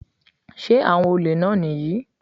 Sé àwọn olè náà nìyí?